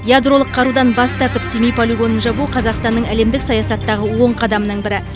ядролық қарудан бас тартып семей полигонын жабу қазақстанның әлемдік саясаттағы оң қадамының бірі